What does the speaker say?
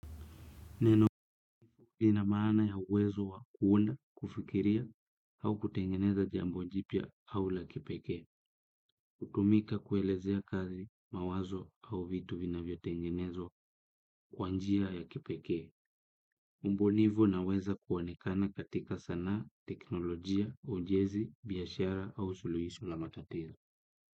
Neno lina maana ya uwezo wa kuunda, kufikiria, au kutengeneza jambo jipya au la kipekee. Kutumika kuelezea kazi, mawazo au vitu vinavyotengenezwa kwa njia ya kipekee. Ubunifu unaweza kuonekana katika sanaa, teknolojia, ujenzi, biashara au suluhisho la matatizo.